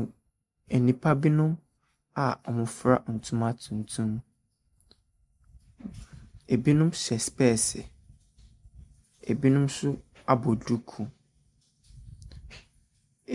M…nnipa binom a wɔafura ntoma tuntum. Ebinom hyɛ specs, ebinom nso abɔ duku.